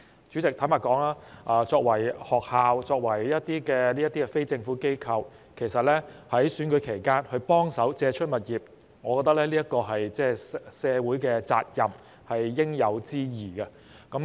主席，坦白說，學校作為非政府機構，其實在選舉期間幫忙借出場地，我覺得是社會責任和應有之義。